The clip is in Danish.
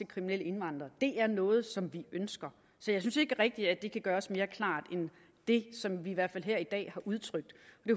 kriminelle indvandrere er noget som vi ønsker så jeg synes ikke rigtig at det kan gøres mere klart end det som vi i hvert fald her i dag har udtrykt